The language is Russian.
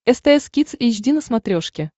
стс кидс эйч ди на смотрешке